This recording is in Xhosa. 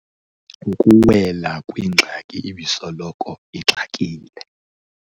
Ukuwela kwingxaki ebisoloko ixakile.